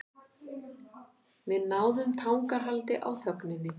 Við náðum tangarhaldi á þögninni.